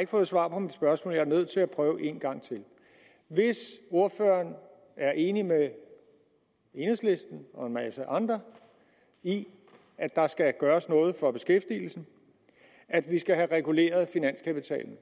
ikke fået svar på mit spørgsmål jeg er nødt til at prøve en gang til hvis ordføreren er enig med enhedslisten og en masse andre i at der skal gøres noget for beskæftigelsen og at vi skal have reguleret finanskapitalen